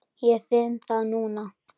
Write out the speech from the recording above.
Ég finn það núna.